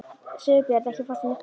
Sigurbjörn, ekki fórstu með þeim?